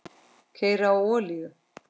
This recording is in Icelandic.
Keyra á olíu?